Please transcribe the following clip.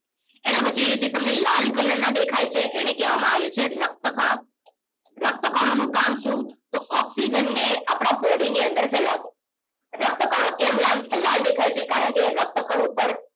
એના પછી અહીં જે લાલ color ના દેખાય છે એને કહેવામાં આવે છે રક્ત કણો રક્ત કણો નું કામ શું તો ઓક્સિજનને આપણા body ની અંદર ફેલાવવું રક્તકણો કેમ લાલ દેખાય છે કારણ કે રક્તકણ ઉપર